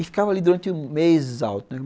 E ficava ali durante meses alto, né.